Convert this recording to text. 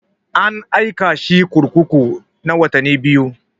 An aika shi kurkuku na watanni biyu.